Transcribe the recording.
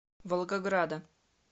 волгограда